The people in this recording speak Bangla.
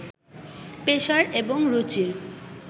পেশার এবং রুচির